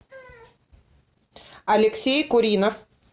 алексей куринов